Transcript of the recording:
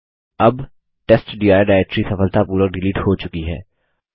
अब testdir directory सफलतापूर्वक delete हो चुकी है